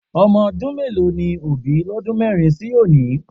Ọmọ ọdún mélòó ni Òbí lọ́dún mẹ́rin sí òní?